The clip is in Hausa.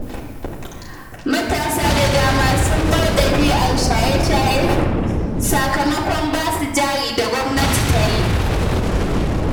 Matasa da dama sun bar ɗabi'ar shaye-shaye sakamakon ba su jari da gwamnati ta yi.